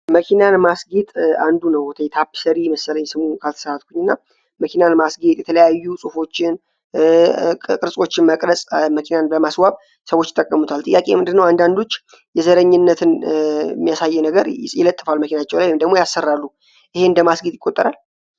መኪናን ማስጌት አንዱ ነው ተየታፕሰሪ መሰለኝ ስሙ ካተሰትኩኝ እና መኪናን ማስጌት የተለያዩ ጽፎችን ቅርፆችን መቅረጽ መኪናን በማስዋብ ሰዎች ጠቀሙታል ጥያቄ የምንድነው አንዳንዶች የዘረኝነትን ሚያሳየ ነገር ይለጥፋል መኪናጨው ላይ የምንደግሞ ያሰራሉ ይህ እንደ ማስጌጥ ይቆጠራል